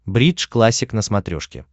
бридж классик на смотрешке